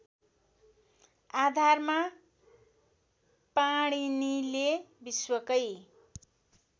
आधारमा पाणिनीले विश्वकै